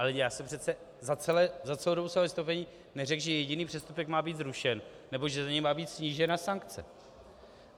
Ale já jsem přece za celou dobu svého vystoupení neřekl, že jediný přestupek má být zrušen nebo že za něj má být snížena sankce.